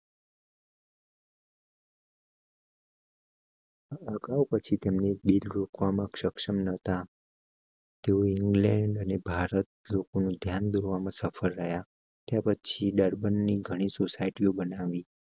છી તેમને બિલ કુલ, સક્ષમ નહોતા. ન્યૂ ઇંગ્લેન્ડ અને ભારત લોકો નું ધ્યાન દોરવા માં સફળ રહ્યા પછી ડરબન ની ઘણી સોસાયટીઓ બનાવી